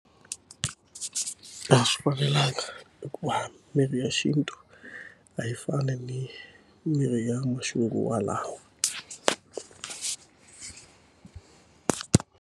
A swi fanelanga hikuva mirhi ya xintu a yi fani ni mirhi ya maxinguvalawa.